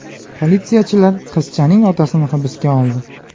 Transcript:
Politsiyachilar qizchaning otasini hibsga oldi.